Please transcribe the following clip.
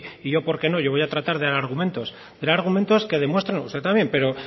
y yo porque no yo voy a tratar de dar argumentos dar argumentos que demuestren usted también pero